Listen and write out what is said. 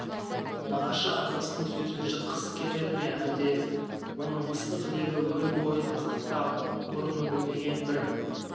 нағашы апасының сөзін жыққысы келмеді ме әлде оның ыстық лебі өн бойын қытықтап бұрын білмеген бір